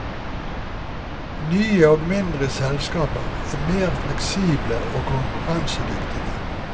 Nye og mindre selskaper er mer fleksible og konkurransedyktige.